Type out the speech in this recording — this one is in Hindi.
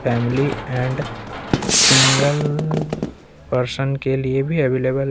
फैमिली एंड सिंगल पर्सन के लिए भी अवेलेबल है।